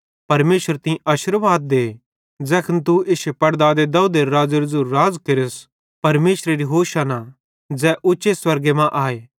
परमेशर तीं आशिर्वाद दे ज़ैखन तू इश्शे पड़दादे दाऊदेरू राज़ेरू ज़ेरू राज़ केरे परमेशरेरी होशाना तारीफ़ भोए ज़ै उच्चे स्वर्गे मां आए